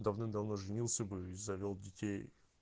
давным давно женился бы и завёл детей